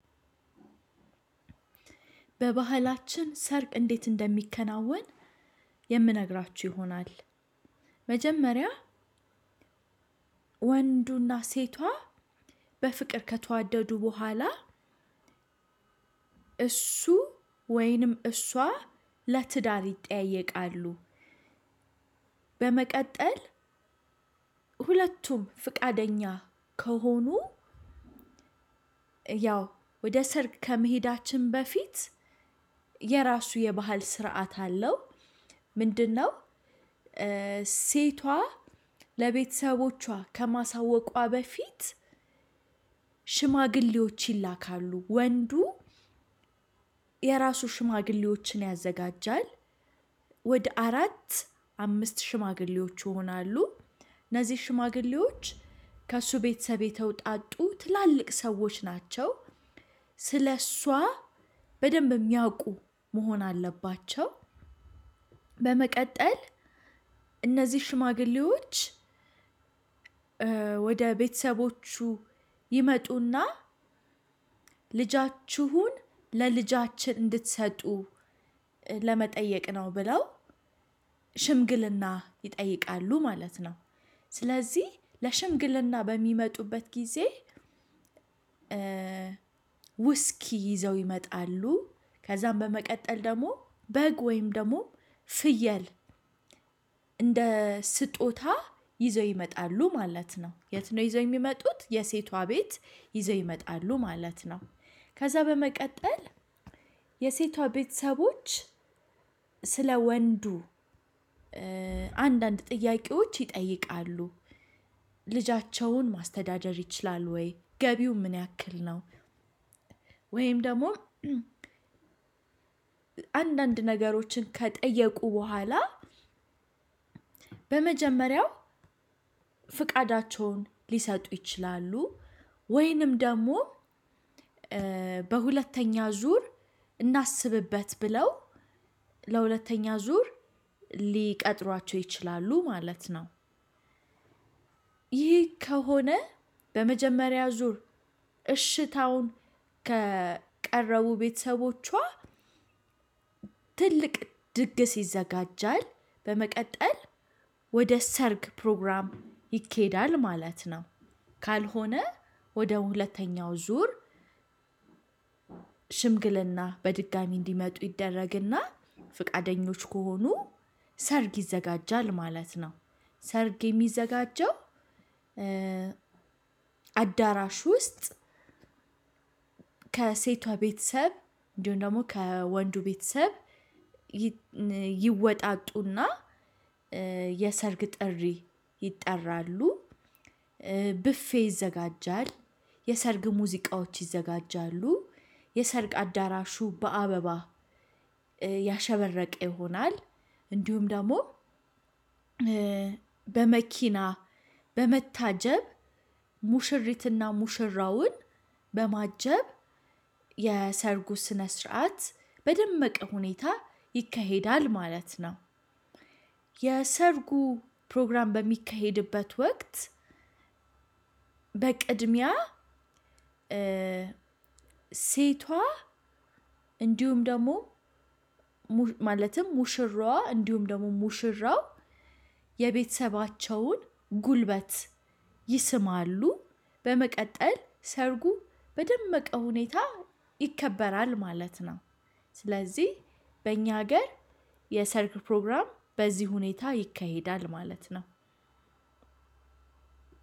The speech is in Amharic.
በባህላችን ሰርግ እንዴት እንደሚከናወን የምነግራችሁ ይሆናል። መጀመሪያ ወንዱና ሴቷ በፍቅር ከተዋደዱ በኋላ እሱ ወይንም እሷ ለትዳር ይጠያየቃሉ። በመቀጠል ሁለቱም ፈቃደኛ ከሆኑ ያው ወደ ሰርግ ከመሄዳችን በፊት የራሱ የባህል ስርዓት አለው። ምንድን ነው? ሴቷ ለቤተሰቦቿ ከማሳወቋ በፊት ሽማግሌዎች ይላካሉ ወንዱ የራሱ ሽማግሌዎችን ያዘጋጃል። ወደ አራት አምስት ሽማግሌዎች ይሆናሉ። እነዚህ ሽማግሌዎች ከእሱ ቤተሰብ የተውጣጡ ትላልቅ ሰዎች ናቸው። ስለእሷ በደንብ የሚያውቁ መሆን አለባቸው። በመቀጠል እነዚህ ሽማግሌዎች ወደ ቤተሰቦቹ ይመጡና ልጃችሁን ለልጃችን እንድትሰጡ ለመጠየቅ ነው ብለው ሽምግልና ይጠይቃሉ ማለት ነው። ስለዚህ ለሽምግልና በሚመጡበት ጊዜ። ውስኪ ይዘው ይመጣሉ ከዛም በመቀጠል ደግሞ በግ ወይም ደግሞ ፍየል እንደ ስጦታ ይዘው ይመጣሉ ማለት ነው። የት ነው ይዘው የሚመጡት የሴቷ ቤት ይዘው ይመጣሉ ማለት ነው? ከዛ በመቀጠል የሴቷ ቤተሰቦች ስለ ወንዱ አንዳንድ ጥያቄዎች ይጠይቃሉ። ልጃቸውን ማስተዳደር ይችላል ወይ ገቢው ምን ያክል ነው? ወይም ደግሞ አንዳንድ ነገሮችን ከጠየቁ በኋላ ለመጀመሪያው ፈቃዳቸውን ሊሰጡ ይችላሉ። ወይም ደግሞ በሁለተኛ ዙር እናስብበት ብለው ለሁለተኛ ዙር ሊቀጥሯቸው ይችላሉ ማለት ነው። ይህ ከሆነ በመጀመሪያ ዙር እሽታውን ካቀረቡ ቤተሰቦቿ ትልቅ ድግስ ይዘጋጀል። በመቀጠል ወደ ሰርግ ፕሮግራም ይኬዳል ማለት ነው። ካልሆነ ወደ ሁለተኛው ዙር ሽምግልና በድጋሚ እንዲመጡ ይደረግና ፈቃደኞች ከሆኑ ሰርግ ይዘጋጃል ማለት ነው። ሰርግ የሚዘጋጀው አዳራሽ ውስጥ ከሴቷ ቤተሰብ እንዲሁም ደግሞ ከወንዱ ቤተሰብ ይወጣጡና የሰርግ ጥሪ ይጠራሉ። ብፌ ይዘጋጃል። የሰርግ ሙዚቃዎች ይዘጋጃሉ። የሰርግ አዳራሹ በአበባ ያሸበረቀ ይሆናል። እንዲሁም ደግሞ በመኪና በመታጀብ ሙሽሪትና ሙሽራውን በማጀብ የሰርጉ ስነ ስርዓት በደመቀ ሁኔታ ይከሄዳል ማለት ነው። የሰርጉ ፕሮግራም በሚካሄድበት ወቅት በቅድሚያ ሴቷ እንዲሁም ደግሞ ማለትም ሙሽራዋ እንዲሁም ደግሞ ሙሽራው የቤተሰባቸውን ጉልበት ይስማሉ። በመቀጠል ሰርጉ በደመቀ ሁኔታ ይከበራል ማለት ነው። ስለዚህ በእኛ ሀገር የሰርግ ፕሮግራም በዚህ ሁኔታ ይካሄዳል ማለት ነው።